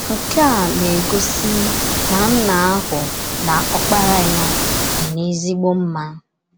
Nke a na - egosi na Nna ahụ na Ọkpara ya dị n’ezigbo mma.